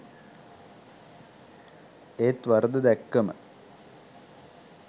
ඒත් වරද දැක්කම